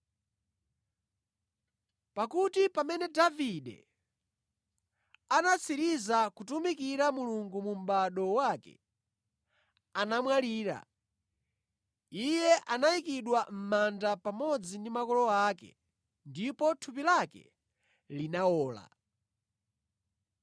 “Pakuti pamene Davide anatsiriza kutumikira Mulungu mu mʼbado wake, anamwalira, iye anayikidwa mʼmanda pamodzi ndi makolo ake ndipo thupi lake linawola.